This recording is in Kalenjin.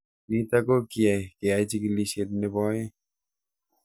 Nitok ko kiyai keyai chikilishet nepo aeng'